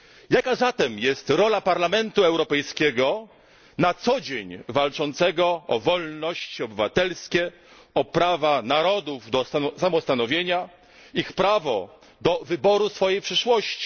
Jaka zatem jest rola Parlamentu Europejskiego na co dzień walczącego o wolności obywatelskie, o prawa narodów do samostanowienia, ich prawo do wyboru swojej przyszłości?